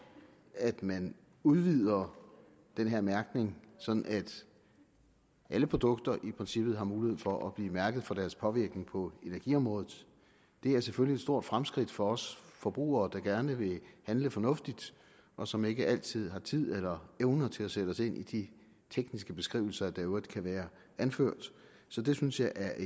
at man udvider den her mærkning sådan at alle produkter i princippet har mulighed for at blive mærket for deres påvirkning på energiområdet det er selvfølgelig et stort fremskridt for os forbrugere der gerne vil handle fornuftigt og som ikke altid har tid eller evner til at sætte os ind i de tekniske beskrivelser der i øvrigt kan være anført så det synes jeg er